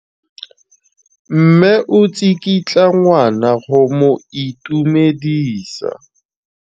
Mme o tsikitla ngwana go mo itumedisa.